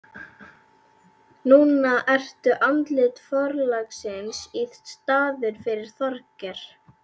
Núna ertu andlit forlagsins í staðinn fyrir Þorgeir.